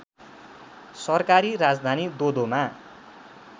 सरकारी राजधानी दोदोमा